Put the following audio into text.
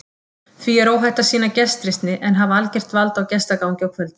Því er óhætt að sýna gestrisni en hafa algert vald á gestagangi á kvöldin.